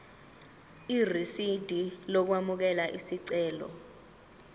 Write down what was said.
irisidi lokwamukela isicelo